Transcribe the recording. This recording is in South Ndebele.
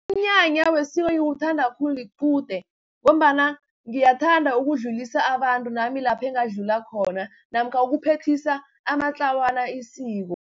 Umnyanya wesiko engiwuthanda khulu liqude, ngombana ngiyathanda ukudlulisa abantu nami lapha engadlula khona, namkha ukuphethisa amatlawana isiko.